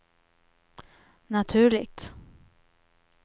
naturligt